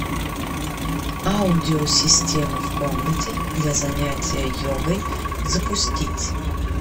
аудио система в комнате для занятия йогой запустить